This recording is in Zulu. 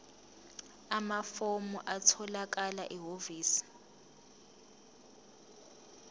amafomu atholakala ehhovisi